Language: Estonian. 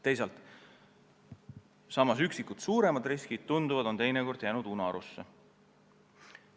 Teisalt tundub, et samas on üksikud suuremad riskid vahel jäänud unarusse.